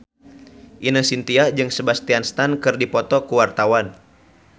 Ine Shintya jeung Sebastian Stan keur dipoto ku wartawan